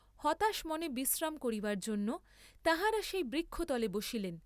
হতাশ মনে বিশ্রাম করিবার জন্য তাঁহারা সেই বৃক্ষতলে বসিলেন।